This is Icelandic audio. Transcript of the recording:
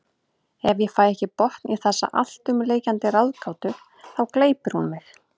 Ef ég fæ ekki botn í þessa alltumlykjandi ráðgátu þá gleypir hún mig.